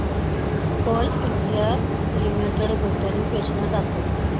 Coal India Limited गुंतवणूक योजना दाखव